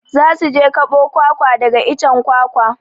Za su je kaɓo kwakwa daga icen kwakwa.